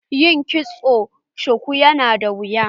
Yin kitson shuku yana da wuya.